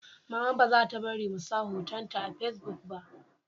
Mama ba za ta bari mu sa hoton ta a fasibuk ba